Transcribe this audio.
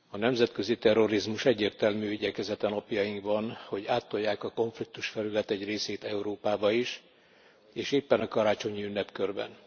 Elnök Úr, a nemzetközi terrorizmus egyértelmű igyekezete napjainkban, hogy áttolják a konfliktusfelület egy részét Európába is, és éppen a karácsonyi ünnepkörben.